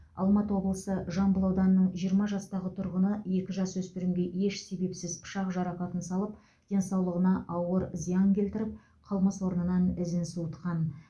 алматы облысы жамбыл ауданының жиырма жастағы тұрғыны екі жасөспірімге еш себепсіз пышақ жарақатын салып денсаулығына ауыр зиян келтіріп қылмыс орнынан ізін суытқан